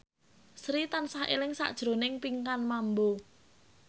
Sri tansah eling sakjroning Pinkan Mambo